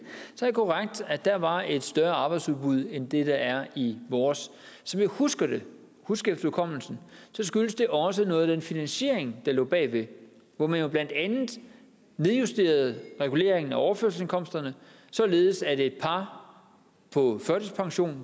er korrekt at der var et større arbejdsudbud end det der er i vores som jeg husker det husker det skyldes det også noget af den finansiering der lå bag hvor man jo blandt andet nedjusterede reguleringen af overførselsindkomsterne således at et par på førtidspension